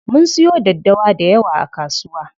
Mun siyo daddawa dayawa a kasuwa.